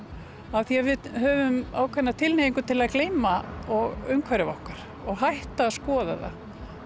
af því að við höfum ákveðna tilhneigingu til að gleyma umhverfi okkar og hætta að skoða